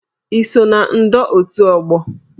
I so na ndọ otu ógbò?